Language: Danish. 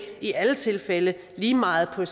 i alle tilfælde lige meget på